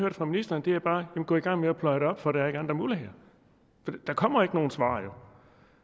det fra ministeren er bare gå i gang med at pløje det op for der er ikke andre muligheder for der kommer jo ikke nogen svar